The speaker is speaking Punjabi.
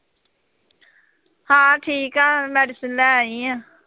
ਹਾਂ ਠੀਕ ਹੈ, medicine ਲੈ ਆਈ ਹਾਂ।